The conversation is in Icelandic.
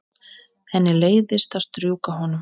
Henni leiðist að strjúka honum.